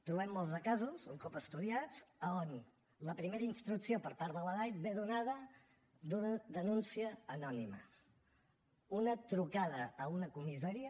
trobem molts casos un cop estudiats a on la primera instrucció per part de la dai ve donada per una denúncia anònima una trucada a una comissaria